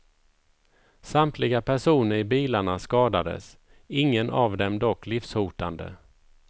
Samtliga personer i bilarna skadades, ingen av dem dock livshotande.